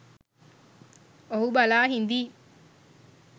ඔහු බලා හිඳියි